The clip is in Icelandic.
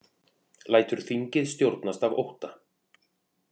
Lætur þingið stjórnast af ótta